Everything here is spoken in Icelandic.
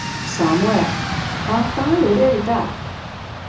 Samúel, hvaða dagur er í dag?